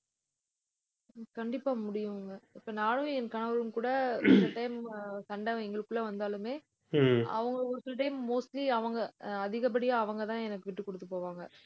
கண்டிப்பா முடியுங்க. இப்ப நானும் என் கணவரும் கூட சில time அஹ் சண்டை எங்களுக்குள்ள வந்தாலுமே அவங்க ஒரு சில time mostly அவங்க அதிகப்படியா அவங்கதான் எனக்கு விட்டுக் கொடுத்துப்போவாங்க.